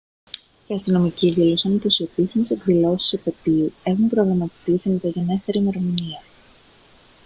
οι αστυνομικοί δήλωσαν πως οι επίσημες εκδηλώσεις της επετείου έχουν προγραμματιστεί σε μεταγενέστερη ημερομηνία